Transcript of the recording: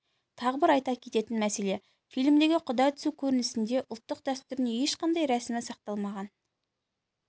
тағы бір айта кететін мәселе фильмдегі құда түсу көрінісінде ұлттық дәстүрдің ешқандай рәсімі сақталмаған